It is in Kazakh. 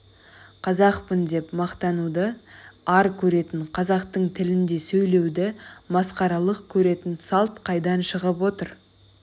қазақпын деп мақтануды ар көретін қазақтың тілінде сөйлеуді масқаралық көретін салт қайдан шығып отыр